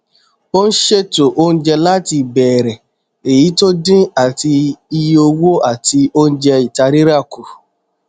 ó n ṣètò oúnjẹ láti ìbẹrẹ èyí tó dín àti iye owó àti oúnjẹ ìta rírà kù